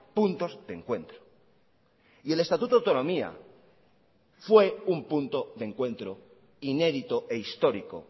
puntos de encuentro y el estatuto de autonomía fue un punto de encuentro inédito e histórico